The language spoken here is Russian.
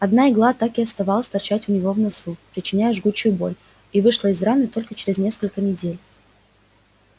одна игла так и осталась торчать у него в носу причиняя жгучую боль и вышла из раны только через несколько недель